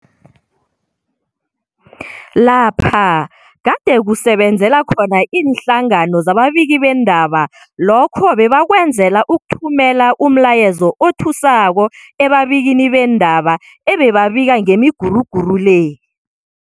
lapha gade kusebenzela khona iinhlangano zababiki beendaba, lokho bebakwenzela ukuthumela umlayezo othusako ebabikini beendaba ebebabika ngemiguruguru le.